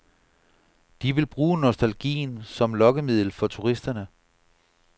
De vil bruge nostalgien som lokkemiddel for turisterne.